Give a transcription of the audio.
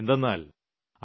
എന്തെന്നാൽ ഐ